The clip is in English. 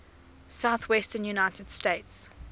southwestern united states